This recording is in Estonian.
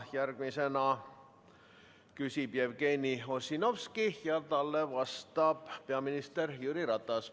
Järgmisena küsib Jevgeni Ossinovski ja talle vastab peaminister Jüri Ratas.